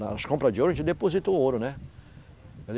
Nas compra de ouro, a gente deposita o ouro, né?